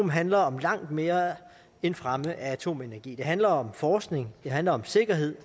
handler om langt mere end fremme af atomenergi det handler om forskning det handler om sikkerhed